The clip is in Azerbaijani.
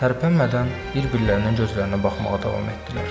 Tərpənmədən bir-birlərinin gözlərinə baxmağa davam etdilər.